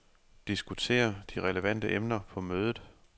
Diskuter de relevante emner på mødet.